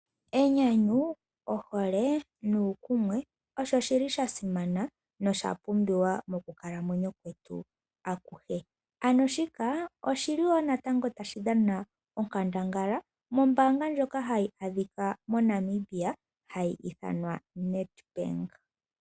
Enyanyu, ohole, nuukumwe, osho shili shasimana noshapumbiwa mokukalamwenyo kwetu akuhe. Ano shika, oshi li woo natango ta shi dhana onkandangala mombaanga ndjoka hayi adhika moNamibia, ha yi ithanwa Nedbank.